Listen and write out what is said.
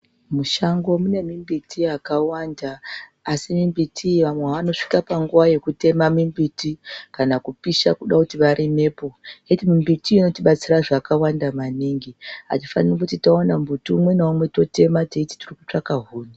Mushango mune mimbiti yakawanda, asi mimbiti iyi vamwe vanosvika panguva yekutema mimbiti kana kupisha kuda kuti varimepo. Iyi mbiti inotibatsire zvakawanda maningi, hatifaniri kuti towana mumbiti umwe naumwe totema tichitvaka huni.